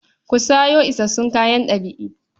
Ku sayo isassun kayan ɗab'i.